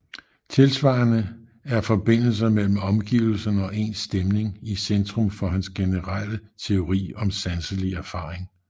Tilsvarende er forbindelser mellem omgivelserne og ens stemning i centrum for hans generele teori om sanselig erfaring